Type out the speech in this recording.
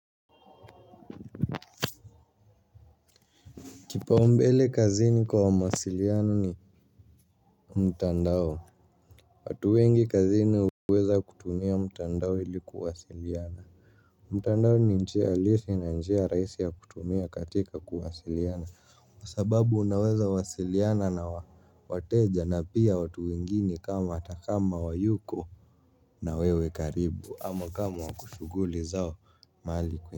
Kipaombele kazini kwa mawasiliano ni mtandao. Watu wengi kazini huweza kutumia mtandao ili kuwasiliana. Mtandao ni njia halisi na njia rahisi ya kutumia katika kuwasiliana kwa sababu unaweza wasiliana na wateja na pia watu wengine kama hata kama hawayuko na wewe karibu ama kama wako shughuli zao mahali. Kwa.